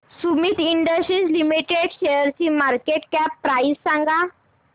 Sumeet industries limited शेअरची market cap price सांगा